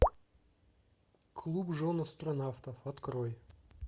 клуб жен астронавтов открой